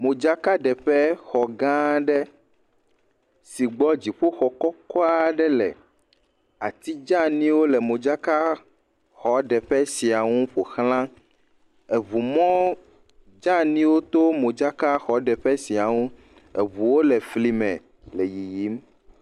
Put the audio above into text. Madzakaɖeƒe xɔ gã aɖe si gbɔ dziƒoxɔ kɔkɔ aɖe le. Ati dzeaniwo le modzakaɖeexɔ sia nu. Eŋumɔ dzeaniwo to modzakaɖeƒexɔ sia ŋu. Eŋuwo le fli me le yiyim.